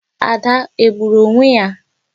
Ada egburu onwe ya?